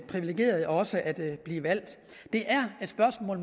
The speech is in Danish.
privilegeret også at blive valgt det er et spørgsmål